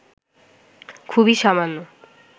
খুবই সামান্য